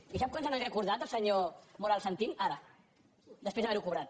i quan se n’ha recordat el senyor moral santín ara després d’haver ho cobrat